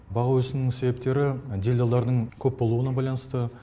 баға өсуінің себептері делдалдардың көп болуына байланысты